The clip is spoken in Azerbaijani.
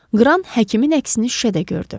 Qran həkimin əksini şüşədə gördü.